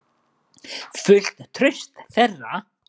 Fullt traust þeirra.